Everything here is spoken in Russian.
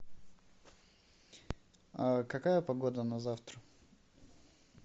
какая погода на завтра